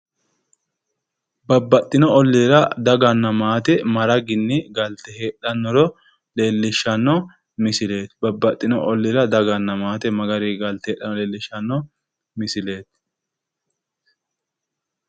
Babbaxino oliira daganna maate maraginni galte heedhanoro leelishano misileeti babbaxino oliira daganna maate magari galte heedhanoro leelishano misilleeti.